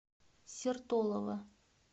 сертолово